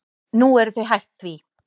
Nú eru þau hætt því.